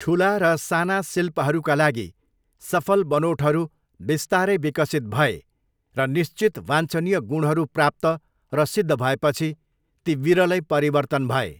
ठुला र साना शिल्पहरूका लागि सफल बनोटहरू बिस्तारै विकसित भए र निश्चित वाञ्छनीय गुणहरू प्राप्त र सिद्ध भएपछि ती विरलै परिवर्तन भए।